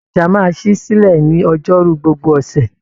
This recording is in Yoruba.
Ọjà máa ṣí silẹ ní ọjọ́rú gbogbo ọṣẹ.